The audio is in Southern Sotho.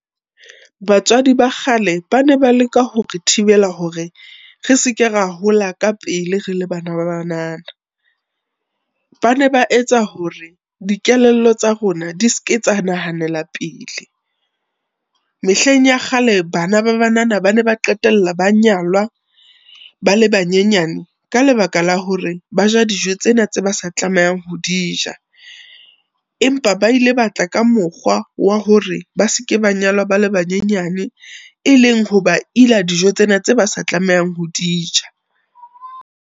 Batswadi ba kgale ba ne ba leka hore thibela hore, re seke ra hola ka pele re le bana ba banana. Ba ne ba etsa hore dikelello tsa rona di seke tsa nahanela pele. Mehleng ya kgale bana ba banana ba ne ba qetella ba nyalwa ba le banyenyane ka lebaka la hore ba ja dijo tsena tse ba sa tlamehang ho di ja, empa ba ile ba tla ka mokgwa wa hore ba seke ba nyalwa bale ba nyenyane, e leng ho ba ila dijo tsena tse ba sa tlamehang ho di ja.